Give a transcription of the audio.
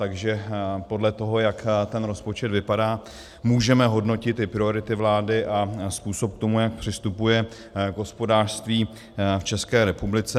Takže podle toho, jak ten rozpočet vypadá, můžeme hodnotit i priority vlády a způsob k tomu, jak přistupuje k hospodářství v České republice.